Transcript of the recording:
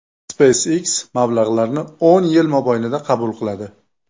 SpaceX mablag‘larni o‘n yil mobaynida qabul qiladi.